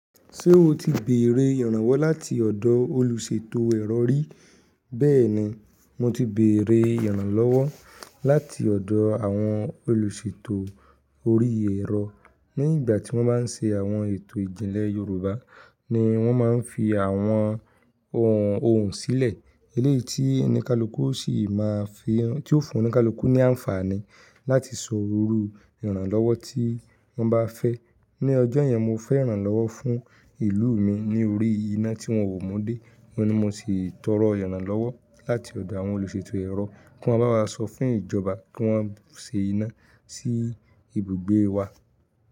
Ṣé o ti bèrè ìrànwọ́ láti ọ̀dọ̀ olùṣètò erọ̀ rí? Bẹ́ẹ̀ni, mo ti bèrè ìrànlọ́wọ́ láti ọ̀dọ̀ àwọn olùṣètò orí ẹ̀rọ. Ní ìgbà tí wọ́n máa ń ṣe àwọn ètò ìjìnlẹ̀ Yorùbá ni wọ́n máa ń fi àwọn ohùn sílẹ̀, eléyìí tí oníkálukú sì máa fi, tí ó fún oníkálukú ní àǹfààní láti sọ òru ìrànlọ́wọ́ tí wọ́n bá fẹ́. Ni ọjọ́ yẹn, mo fẹ́ ìrànlọ́wọ́ fún ìlú mi ní orí iná tí wọ́n ò mu dé, ni mo si tọrọ ìrànlọ́wọ́ láti ọ̀dọ̀ àwọn olùṣètò ẹ̀rọ kí wọ́n bá wa sọ fún ìjọba kí wọ́n ṣe iná sí ibùgbé wa.